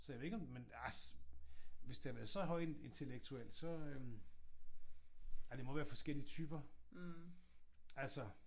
Så jeg ved ikke om ah hvis det havde været så højintellektuelt så øh ej det må være forskellige typer. Altså